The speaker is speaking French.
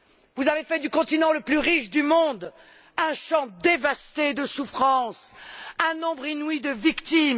Vous avez fait du continent le plus riche du monde un champ dévasté de souffrances, un nombre inouï de victimes.